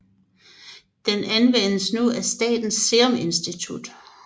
Den anvendes nu af Statens Serum Institut